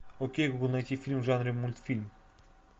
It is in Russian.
окей гугл найти фильм в жанре мультфильм